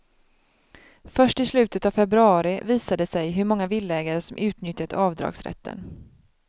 Först i slutet av februari visar det sig hur många villaägare som utnyttjat avdragsrätten.